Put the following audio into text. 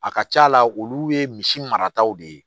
A ka ca la olu ye misi marataw de ye